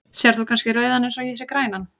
Sérð þú kannski rauðan eins og ég sé grænan?